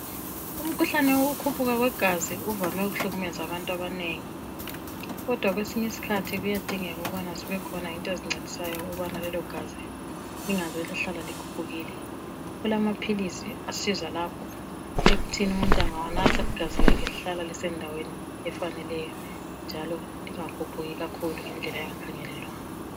Umkhuhlane wokukhuphuka kwegazi uvame ukuhlukumeza abantu abanengi. Kodwa kwesinye isikhathi kuyadingeka ukubana zibekhona into ezincedisayo ukubana lelogazi lingaze lihlale likhuphukile. Kulamaphilisi asiza lapho ekuthini engawanatha igazi lakhe lihlala lisendaweni efaneleyo njalo lingakhuphuki kakhulu ngendlela engakhangelelwanga